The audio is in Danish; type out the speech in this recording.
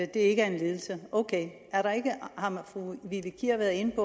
det ikke er en lidelse ok har fru vivi kier været inde at